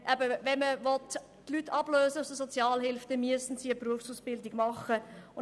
Will man die Leute aus der Sozialhilfe ablösen, dann müssen diese eine Berufsausbildung absolvieren.